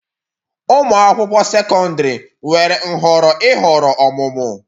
Ụmụ akwụkwọ sekọndrị nwere nhọrọ ịhọrọ ọmụmụ